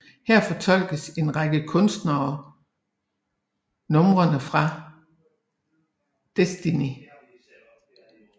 Her fortolker en række kunstnere numrene fra Destiny